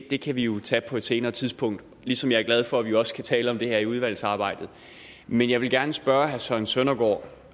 det kan vi jo tage på et senere tidspunkt ligesom jeg er glad for at vi også kan tale om det her i udvalgsarbejdet men jeg vil gerne spørge herre søren søndergaard